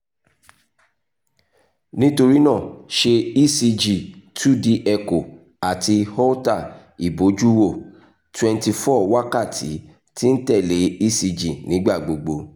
nitorina ṣe ecg two d echo ati holter ibojuwo ( twenty four wakati ti n tẹle ecg nigbagbogbo)